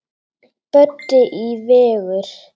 Böddi í Vigur.